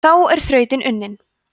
þá er þrautin unnin